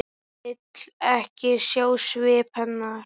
Vill ekki sjá svip hennar.